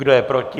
Kdo je proti?